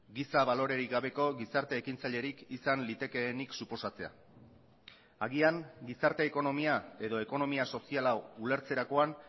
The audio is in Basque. giza balorerik gabeko gizarte ekintzailerik izan litekeenik suposatzea agian gizarte ekonomia edo ekonomia sozial hau ulertzerakoan